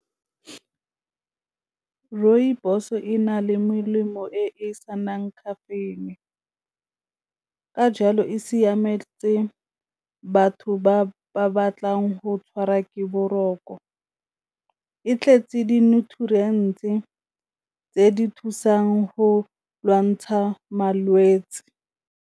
Rooibos e na le melemo e e senang caffeine, ka jalo e siametse batho ba ba batlang go tshwarwa ke boroko, e tletse di-nutrients-e tse di thusang go lwantsha malwetse.